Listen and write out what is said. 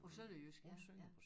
På sønderjysk ja ja